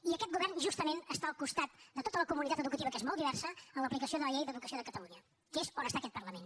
i aquest govern justament està al costat de tota la comunitat educativa que és molt diversa en l’aplicació de la llei d’educació de catalunya que és on està aquest parlament